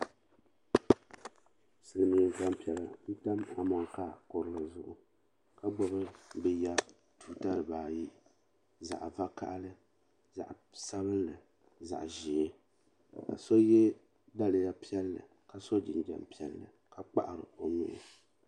Silimiin gbampiɛla n tam amonkaa kurili zuɣu ka gbibi bɛ ya tuuta dibaayi zaɣa vakahali zaɣa sabinli zaɣa ʒee ka so ye daliya piɛlli ka so jinjiɛm piɛlli ka kpahari o nuhi.